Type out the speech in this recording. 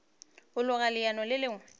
a loga leano le lengwe